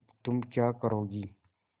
अब तुम क्या करोगी